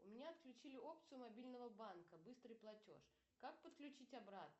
у меня отключили опцию мобильного банка быстрый платеж как подключить обратно